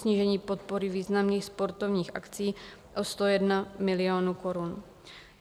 Snížení podpory významných sportovních akcí o 101 milionů korun.